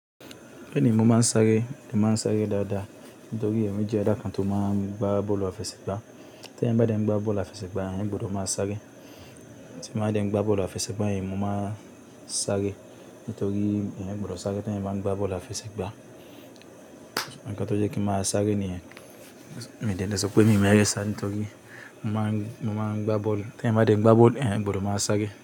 Bẹ́ẹ̀ni mo máa ń sáré, mo máa ń sáré dáadáa. Nítorí èmi jẹ́ ẹ̀dá kan tó máa ń gba bọ́ọ̀lù afẹ́sẹ̀ gba. Tí èyàn bá dẹ̀ ń gba bọ́ọ̀lù afẹsẹ̀ gba, èyàn gbọdọ̀ má sáré. Tí bá dẹ̀ ń gba bọ́ọ̀lù afẹsẹ̀ gba yen, mo má ń sáré. Nítorí èyàn gbọdọ̀ sáré te èyàn bá ń gba bọ́ọ̀lù afẹsẹ̀ gba. Ǹkan tó jẹ́ kí n ma sáré ni yẹn, mi dé le s'ope mi ò mọ eré sá nítorí mo máa, mo má ń gba bọ́ọ̀lù. Te emba dem gba bolo, eh mboro ma nsake.